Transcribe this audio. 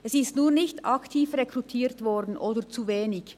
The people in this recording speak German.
Es wurde nur nicht aktiv oder zu wenig aktiv rekrutiert.